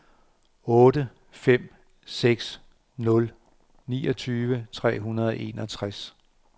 otte fem seks nul niogtyve tre hundrede og enogtres